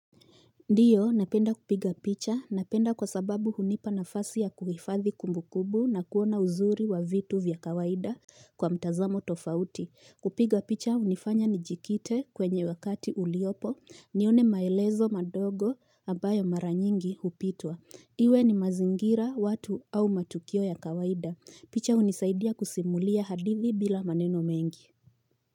Ndiyo, napenda kupiga picha, napenda kwa sababu hunipa na fasi ya kuhifadhi kumbu kumbu na kuona uzuri wa vitu vya kawaida kwa mtazamo tofauti. Kupiga picha, hunifanya ni jikite kwenye wakati uliopo, nione maelezo madogo ambayo mara nyingi hupitwa. Iwe ni mazingira watu au matukio ya kawaida. Picha hunisaidia kusimulia hadithi bila maneno mengi.